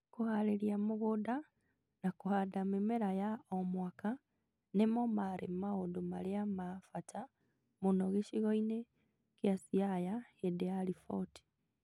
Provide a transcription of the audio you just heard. Kũhaarĩria mũgũnda na kũhanda mĩmera ya o mwaka nĩmo marĩ maũndũ marĩa ma bata mũno gĩcigo-inĩ kĩa Siaya hĩndĩ ya riboti